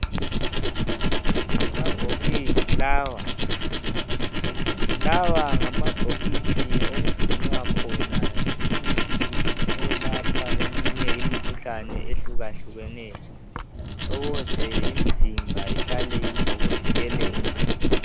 Amabhokisi lawa ngamabhokisi okugcinwa khona imithi eyelapha eminye imikhuhlane ehlukahlukeneyo ukuze imizimba ihlale ilokuvikeleka..